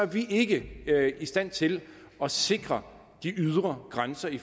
vi ikke i stand til at sikre de ydre grænser i